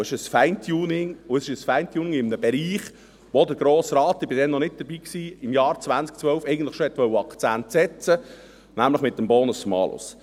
Es ist ein Feintuning, und es ist ein Feintuning in einem Bereich, in dem der Grosse Rat im Jahr 2012 eigentlich schon Akzente setzen wollte, nämlich mit dem Bonus-Malus.